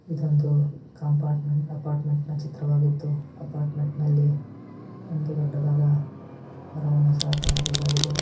ಇದು ಒಂದು compartment apartment ನ ಚಿತ್ರವಾಗಿದ್ದು ಅಪಾರ್ಟ್ಮೆಂಟ್ನ ಲ್ಲಿ ಒಂದು ದೊಡ್ಡದಾದ ಮರವನ್ನು ಸಹ ಕಾಣಬಹುದಾಗಿದೆ .